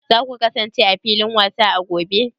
Za ku kasance a filin wasa a gobe?